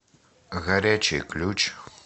горячий ключ